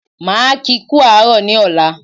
Máa kí kú àárọ̀ ní ọ̀la